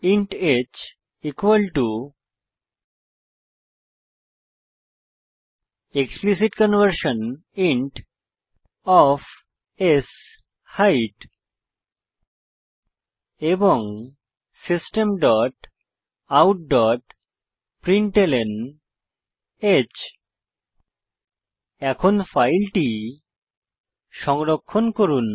int h equal to explicit conversion int of শেইট এবং system dot out dot println h এখন ফাইলটি সংরক্ষণ করুন